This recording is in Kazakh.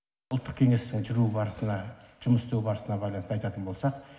ұлттық кеңестің жүру барысына жұмыс істеу барысына байланысты айтатын болсақ